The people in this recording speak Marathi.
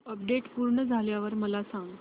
अपडेट पूर्ण झाल्यावर मला सांग